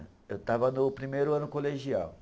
Eu estava no primeiro ano colegial.